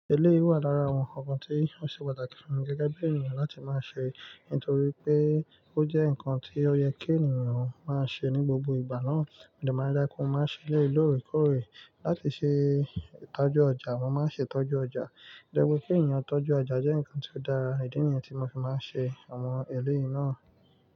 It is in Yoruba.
Eléyii wà lára àwọn nǹkan kan tí ó ṣe pàtàkì fún mi gẹ́gẹ́ bí ènìyàn láti máa ṣe nítorí pé ó jẹ́ nǹkan tí ó yẹ kí ènìyàn máa ṣe ní gbogbo ìgbà náà. Mò dè má da, kò máa ṣe eléyìí lóòrèkóòrè. Láti ṣe ìtọ́jú ọjà, mo máa ń ṣe ìtọ́jú ọjà. Jẹ́ pé kí ènìyàn tọ́jú ọjà jẹ́ nǹkan tí ó dára. Ìdí níyẹn tì mo fi máa n ṣe àwọn eléyìí náà.